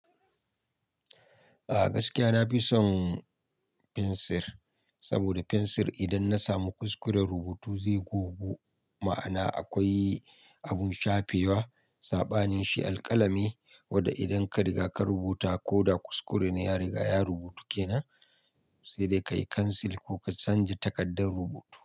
A gaskiya na fi son fensir, saboda fensir idan na samu kuskure rubutu zai gogu. Ma'ana akwai abun shafewa, saɓanin shi alƙalami wadda idan ka riga ka rubuta ko da kuskure ne ya riga ya rubutu ke nan, sai dai kayi cancel ko ka canja takardar rubutu.